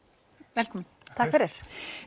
velkomin takk fyrir